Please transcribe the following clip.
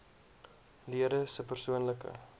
lede se persoonlike